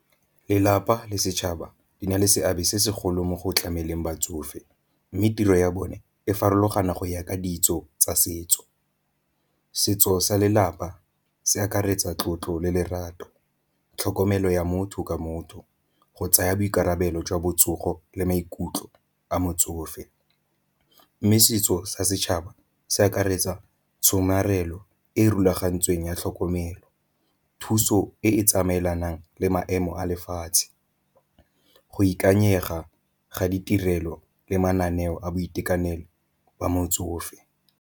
Lelapa le setšhaba di na le seabe se segolo mo go tlameleng batsofe, mme tiro ya bone e farologana go ya ka ditso tsa setso. Setso sa lelapa se akaretsa tlotlo le lerato tlhokomelo ya motho ke motho, go tsaya boikarabelo jwa botsogo le maikutlo a motsofe. Mme setso sa setšhaba se akaretsa tshomarelo e rulagantsweng ya tlhokomelo thuso e e tsamaelanang le maemo a lefatshe, go ikanyega ga ditirelo le mananeo a boitekanelo wa motsofe.